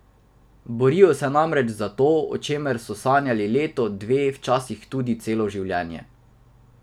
Borijo se namreč za to, o čemer so sanjali leto, dve, včasih tudi celo življenje.